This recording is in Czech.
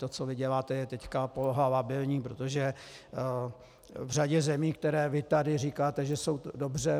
To, co vy děláte teď, je poloha labilní, protože v řadě zemí, které vy tady říkáte, že jsou dobře...